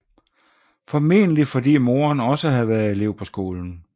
Formodentlig fordi moderen også havde været elev på skolen